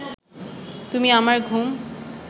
তুমি আমার ঘুম